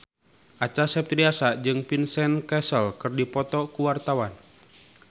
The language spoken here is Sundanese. Acha Septriasa jeung Vincent Cassel keur dipoto ku wartawan